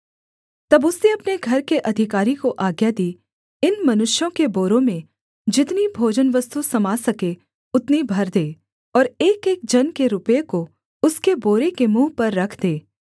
तब उसने अपने घर के अधिकारी को आज्ञा दी इन मनुष्यों के बोरों में जितनी भोजनवस्तु समा सके उतनी भर दे और एकएक जन के रुपये को उसके बोरे के मुँह पर रख दे